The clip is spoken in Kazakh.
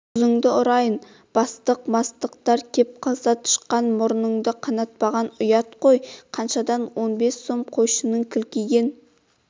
қызыңды ұрайын бастық-мастықтар кеп қалса тышқан мұрынын қанатпаған ұят қой қаншадан он бес сом қойшының кілкиген